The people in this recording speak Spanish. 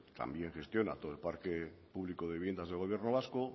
también gestiona todo el parque público de viviendas del gobierno vasco